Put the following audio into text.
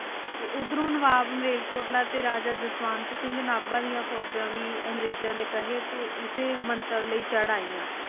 ਤੇ ਓਧਰੋਂ ਨਵਾਬ ਮੇਲਕੋਟਰਾ ਤੇ ਰਾਜਾ ਜਸਵੰਤ ਸਿੰਘ ਨਾਬਾ ਦੀਆ ਫੋਜਾ ਵੀ ਅੰਗਰੇਜਾਂ ਦੇ ਕਹੇ ਤੇ ਇਸ ਮੰਤਵ ਲਯੀ ਚੜਾਈਆਂ